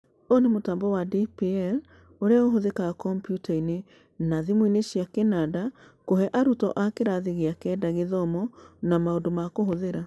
Ũyũ nĩ mũtambo wa DPL ũrĩa ũhũthĩkaga kompiuta-inĩ na thimũ-inĩ cia kĩnanda kũhe arutwo a kĩrathi gĩa kenda gĩthomo na maũndũ ma kũhũthĩra.